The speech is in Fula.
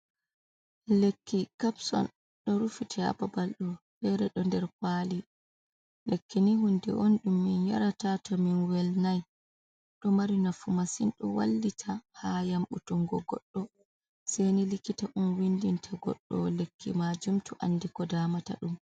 Lekki kapson, ɗo rufiti hababal nda fere ɗo nder kwali. lekkini hunde on ɗum min yarata to min wel nai, ɗo mari nafu masin ɗo wallita ha yambutungo goɗɗo seini likita on windinta goɗɗo lekki majum to andi ko damata ɗum.